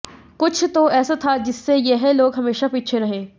कुछ तो ऐसा था जिससे यह लोग हमेशा पीछे रहे